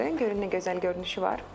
Görün nə gözəl görünüşü var.